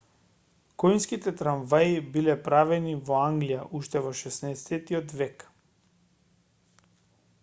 коњските трамваи биле правени во англија уште во 16-тиот век